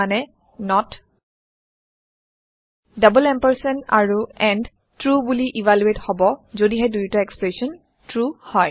মানে এম্পাম্প আৰু এণ্ড ট্ৰু বোলি ইভালুৱেট হব যদিহে দুয়োটা এক্সপ্ৰেচন ট্ৰু হয়